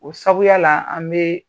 O sabuya la an bɛ